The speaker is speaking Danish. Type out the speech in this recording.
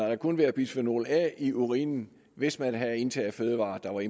der kunne være bisfenol a i urinen hvis man havde indtaget fødevarer der var